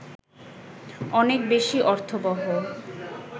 অনেক বেশি অর্থবহ